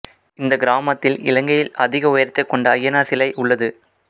இந்த கிராமத்தில் இலங்கையில் அதிக உயரத்தை கொண்ட ஐயனார் சிலை உள்ளது